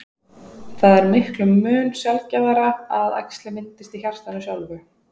það er miklum mun sjaldgæfara að æxli myndist í hjartanu sjálfu